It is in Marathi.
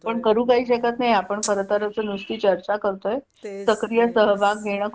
पण करू काय शकत नाही आपण खरं तर असं नुस्ती चर्चा करतोय सक्रिय सहभाग घेणं